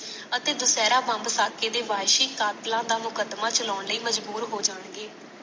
ਅਤੇ ਦਸ਼ਹਰਾ ਬੰਬ ਸਾਕੇ ਦੇ ਵਾਸੀ ਕਤਿਲਾ ਦਾ ਮੁਕਦਮਾ ਚਲਾਣ ਲਈ ਮਜਬੂਰ ਹੋ ਜਾਣਗੇ